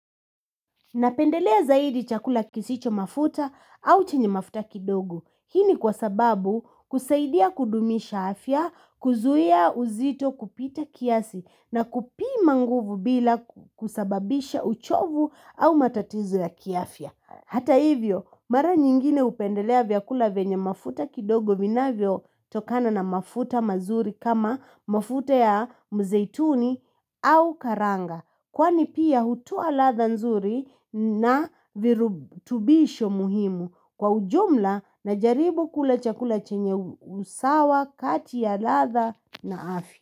Napendelea zaidi chakula kisicho mafuta au chenye mafuta kidogo. Hii ni kwa sababu kusaidia kudumisha afya, kuzuia uzito kupita kiasi na kupima nguvu bila kusababisha uchovu au matatizo ya kiafya. Hata hivyo, mara nyingine hupendelea vyakula venye mafuta kidogo viinavyo tokana na mafuta mazuri kama mafuta ya mzeituni au karanga. Kwani pia hutoa latha nzuri na virutubisho muhimu kwa ujumla najaribu kula chakula chenye usawa, kati ya latha na afya.